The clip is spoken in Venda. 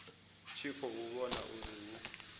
tshi khou vhona uri hu